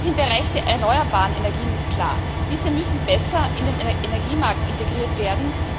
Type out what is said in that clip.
Auch im Bereich der erneuerbaren Energien ist klar Diese müssen besser in den Energiemarkt integriert werden.